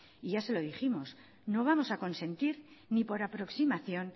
y ya se lo dijimos no vamos a consentir ni por aproximación